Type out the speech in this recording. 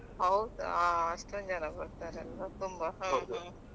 ಹೌದಾ ಹಾ ಅಷ್ಟೊಂದು ಜನ ಬರ್ತಾರಲ್ವಾ ತುಂಬಾ .